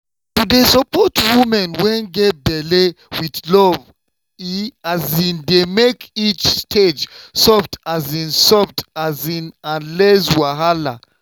to dey support woman wey get belle with love e dey make each stage soft um soft um and less wahala.